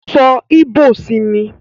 So ìbò sí mi!